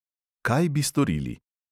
Kaj bi storili?